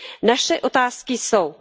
Naše otázky jsou